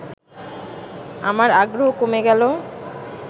আমার আগ্রহ কমে গেল